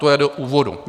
To je do úvodu.